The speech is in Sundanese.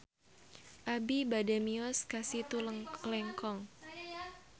Abi bade mios ka Situ Lengkong